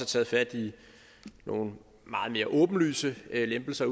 taget fat i nogle meget mere åbenlyse lempelser